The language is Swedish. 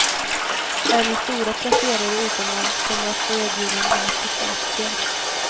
Även stora placerare utomlands kommer att få erbjudande om att teckna aktier.